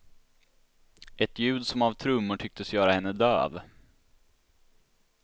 Ett ljud som av trummor tycktes göra henne döv.